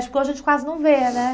Porque hoje a gente quase não vê, né?